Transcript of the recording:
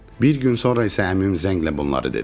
Bir gün sonra isə əmim zənglə bunları dedi.